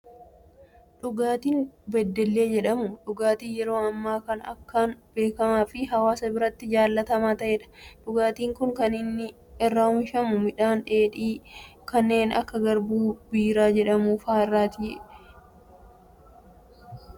Dhugaatiin beddellee jedhamu, dhugaatii yeroo ammaa kana akkaan beekamaa fi hawaasa biratti jaalatamaa ta'edha. Dhugaatiin Kun kan inni irraa oomishamu, midhaan dheedhii kanneen akka garbuu biiraa jedhamu fa'aa irraati. Dhuguufis baayyee mijataadha.